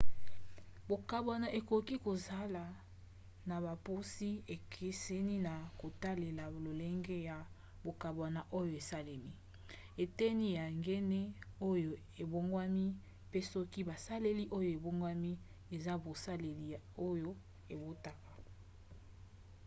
mbogwana ekoki kosala na bopusi ekeseni na kotalela lolenge ya mbongwana oyo esalemi eteni ya gene oyo ebongwani mpe soki baselile oyo ebongwani eza baselile oyo ebotaka